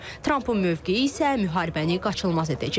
Trampın mövqeyi isə müharibəni qaçılmaz edəcək.